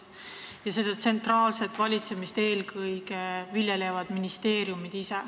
Ja seda tsentraalset valitsemist eelkõige viljelevad ministeeriumid.